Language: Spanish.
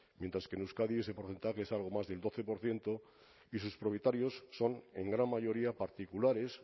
mientras que en euskadi ese porcentaje es algo más del doce por ciento y sus propietarios son en gran mayoría particulares